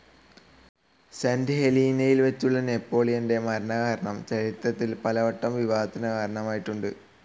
Saint ഹെലീനയിൽ വച്ചുള്ള നെപ്പോളിയന്റെ മരണകാരണം ചരിത്രത്തിൽ പലവട്ടം വിവാദത്തിന്‌ കാരണമായിട്ടുണ്ട്.